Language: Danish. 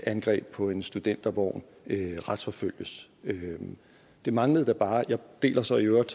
angreb på en studentervogn retsforfølges det manglede da bare og jeg er så i øvrigt